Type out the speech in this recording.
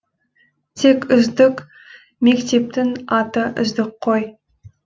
тек үздік мектептің аты үздік қой